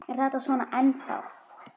Er þetta svona ennþá?